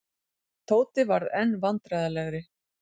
Tóti varð enn vandræðalegri.